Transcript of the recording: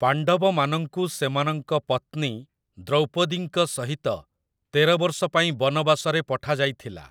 ପାଣ୍ଡବମାନଙ୍କୁ ସେମାନଙ୍କ ପତ୍ନୀ ଦ୍ରୌପଦୀଙ୍କ ସହିତ ତେର ବର୍ଷ ପାଇଁ ବନବାସରେ ପଠାଯାଇଥିଲା ।